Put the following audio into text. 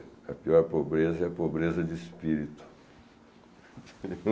A pior pobreza é a pobreza de espírito.